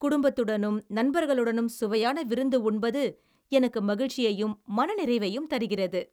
குடும்பத்துடனும் நண்பர்களுடனும் சுவையான விருந்து உண்பது எனக்கு மகிழ்ச்சியையும் மனநிறைவையும் தருகிறது.